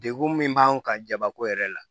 Degun min b'an kan jabako yɛrɛ la